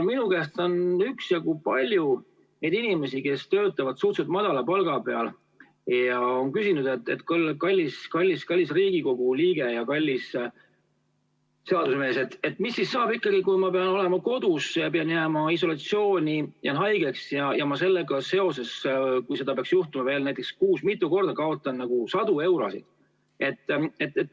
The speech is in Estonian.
Minu käest on üksjagu inimesi, kes töötavad suhteliselt väikese palga eest, küsinud: "Kallis Riigikogu liige ja kallis seadusemees, mis saab ikkagi siis, kui ma pean olema kodus isolatsioonis, sest jäin haigeks, ja ma selle tagajärjel, kui seda peaks juhtuma näiteks kuus mitu korda, kaotan sadu eurosid?